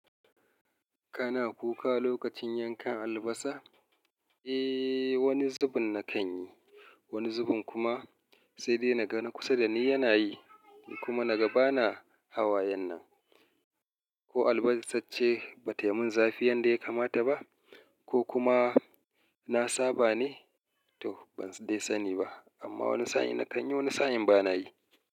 Kana kuka lokacin yankan albasa? Eh, wani zubin na kan yi, wani zubin kuma sai dai na ga na kusa da ni yana yi kuma na ga bana hawayen nan. Ko albasa ce ba taimun zafi yanda ya kamata ba, ko kuma na saba ne? To ban dai sani ba, amma wani sa'in na kan yi, wani sa'in bana yi.